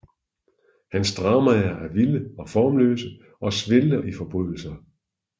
Hans dramaer er vilde og formløse og svælger i forbrydelser